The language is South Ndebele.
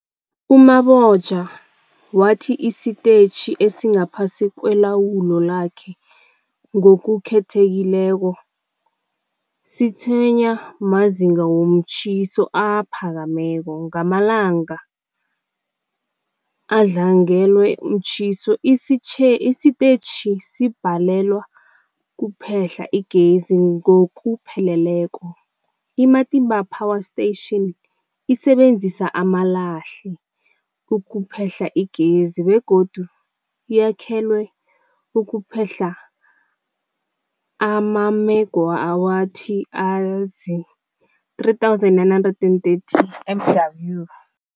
U-Mabotja wathi isitetjhi esingaphasi kwelawulo lakhe, ngokukhethekileko, sitshwenywa mazinga womtjhiso aphakemeko. Ngamalanga adlangelwe mtjhiso, isitetjhi sibhalelwa kuphehla igezi ngokupheleleko. I-Matimba Power Station isebenzisa amalahle ukuphehla igezi begodu yakhelwe ukuphehla amamegawathi azii-3930 MW.